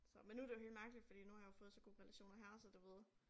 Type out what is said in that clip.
Så men nu det jo helt mærkeligt fordi nu har jeg jo fået så gode relationer her så du ved